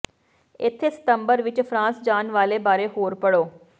ਇੱਥੇ ਸਤੰਬਰ ਵਿੱਚ ਫਰਾਂਸ ਜਾਣ ਵਾਲੇ ਬਾਰੇ ਹੋਰ ਪੜ੍ਹੋ